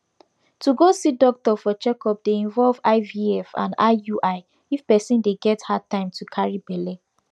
to go see doctor for checkup dey involve ivf and iui if person dey get hard time to carry belle